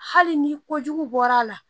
Hali ni kojugu bɔr'a la